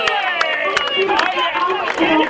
Takk fyrir allt og okkur.